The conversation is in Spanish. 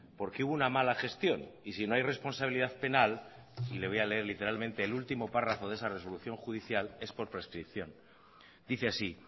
porque hubo una mala gestión y si no hay responsabilidad penal le voy a leer literalmente el último párrafo de esa resolución judicial es por prescripción dice así